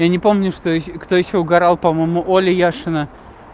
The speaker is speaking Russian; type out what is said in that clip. я не помню что кто ещё угарал по-моему оля яшина